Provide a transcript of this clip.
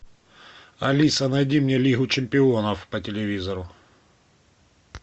алиса найди мне лигу чемпионов по телевизору